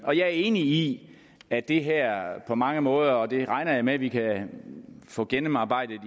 er enig i at det her på mange måder og det regner jeg med at vi kan få gennemarbejdet